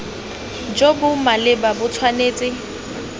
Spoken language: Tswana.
jo bo maleba bo tshwanetse